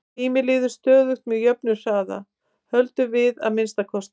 Tíminn líður stöðugt með jöfnum hraða, höldum við að minnsta kosti.